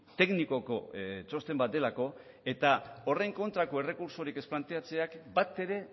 teknikoko txosten bat delako eta horren kontrako errekurtsorik ez planteatzeak bat ere